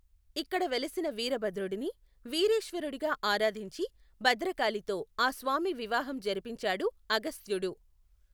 ఇక్కడ వెలసిన వీరభద్రుడిని వీరేశ్వరుడిగా ఆరాధించి భద్రకాళితో ఆ స్వామి వివాహం జరిపించాడు అగస్త్యుడు.